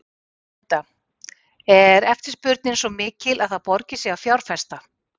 Linda: Er eftirspurnin svo mikil að það borgi sig að fjárfesta?